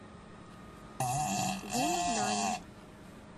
луннань